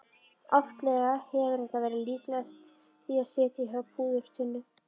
Oftlega hefur þetta verið líkast því að sitja á púðurtunnu.